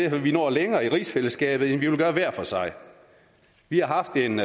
at vi når længere i rigsfællesskabet end vi ville gøre hver for sig vi har haft en